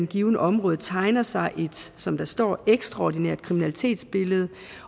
givet område tegner sig et som der står ekstraordinært kriminalitetsbillede